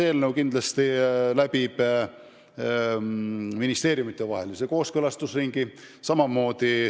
Aga kindlasti läbib seaduseelnõu ministeeriumidevahelise kooskõlastusringi.